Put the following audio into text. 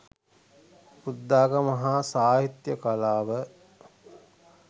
බුද්ධාගම හා සාහිත්‍ය කලාව